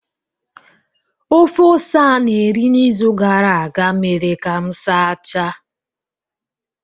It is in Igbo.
Ofe ose a na-eri n’izu gara aga mere ka m sachaa